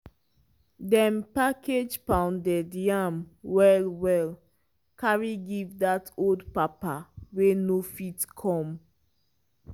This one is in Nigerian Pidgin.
dem package pounded yam well well carry give dat old papa wey no fit come.